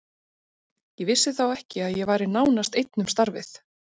Ég vissi þá ekki að ég væri nánast einn um starfið.